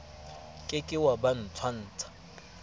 ke ke wa ba tshwantsha